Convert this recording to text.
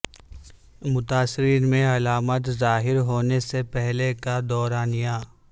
متاثرین میں علامات ظاہر ہونے سے پہلے کا دورانیہ